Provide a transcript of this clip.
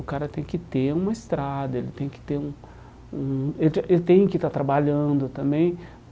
O cara tem que ter uma estrada, ele tem que ter um um ele tinha ele tem que estar trabalhando também.